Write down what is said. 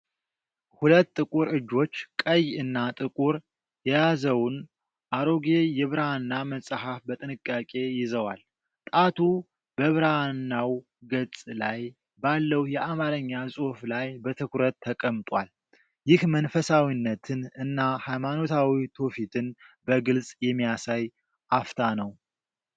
ሁለት ጥቁር እጆች ቀይ እና ጥቁር የያዘውን አሮጌ የብራና መጽሐፍ በጥንቃቄ ይዘዋል። ጣቱ በብራናው ገጽ ላይ ባለው የአማርኛ ጽሑፍ ላይ በትኩረት ተቀምጧል። ይህ መንፈሳዊነትን እና ሃይማኖታዊ ትውፊትን በግልጽ የሚያሳይ አፍታ ነው።